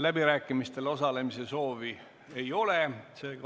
Läbirääkimistel osalemise soovi ei ole.